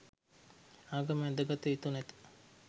ආගම් ඇඳ ගත යුතු නැත.